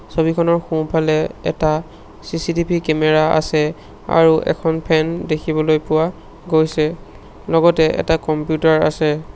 ছবিখনৰ সোঁ-ফালে এটা চি_চি_টি_ভি কেমেৰা আছে আৰু এখন ফেন দেখিবলৈ পোৱা গৈছে লগতে এটা কম্পিউটাৰ আছে।